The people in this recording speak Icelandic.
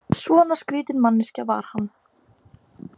Svona skrýtin manneskja var hann.